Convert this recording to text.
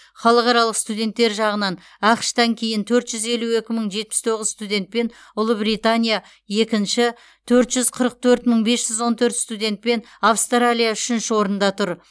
халықаралық студенттер жағынан ақш тан кейін төрт жүз елу екі мың жетпіс тоғыз студентпен ұлыбритания екінші төрт жүз қырық төрт мың бес жүз он төрт студентпен австралия үшінші орында тұр